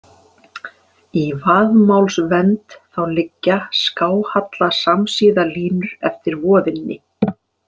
Í vaðmálsvend þá liggja skáhalla samsíða línur eftir voðinni.